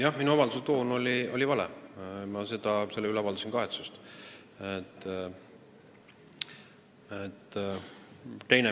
Jah, minu avalduse toon oli vale ja ma avaldasin selle üle kahetsust.